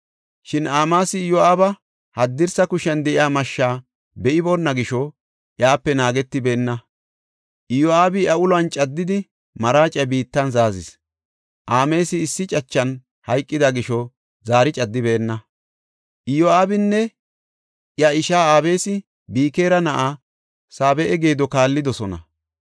Shin Amaasi Iyo7aaba haddirsa kushiyan de7iya mashshaa be7iboona gisho, iyape naagetibeenna. Iyo7aabi iya uluwan caddidi maraaciya biittan zaazis. Amaasi issi cachan hayqida gisho zaari caddibeenna. Iyo7aabinne iya ishaa Abisi Bikira na7aa Saabe7a geedo kaallidosona.